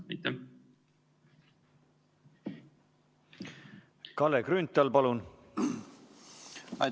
Kalle Grünthal, palun!